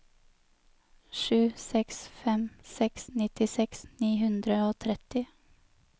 sju seks fem seks nittiseks ni hundre og tretti